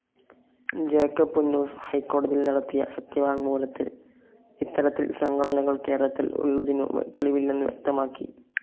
Jacob Punnoose ഹൈക്കോടതിയിൽ നടത്തിയ സത്യവാങ് മൂലത്തിൽ ഇത്തരത്തിൽ സംഘടനകൾ കേരളത്തിൽ ഉള്ളതിനു തെളിവില്ലെന്നു വ്യക്തമാക്കി.